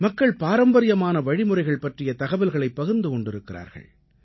மக்கள் பாரம்பரியமான வழிமுறைகள் பற்றிய தகவல்களைப் பகிர்ந்து கொண்டிருக்கிறார்கள்